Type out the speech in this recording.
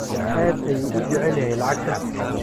Aad ayuu u jecel yahay lacagta.